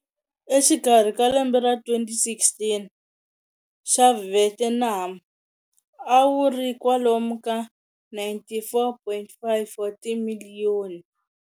Exikarhi ka lembe ra 2016, xa Vietnam a wuri kwalomu ka 94.5 wa timilliyoni.